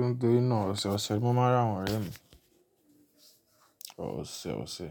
Nítorí náà, ọ̀sẹ̀ ọ̀sẹ̀ mo máa ń ràwọn ọ̀rẹ́ mi ọ̀sẹ̀ ọ̀sẹ̀.